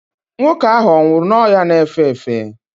nwoke ahụ ọ nwụrụ n'ọrịa na-efe efe?